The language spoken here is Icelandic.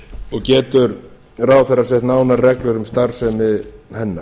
og getur ráðherra sett nánari reglur um starfsemi hennar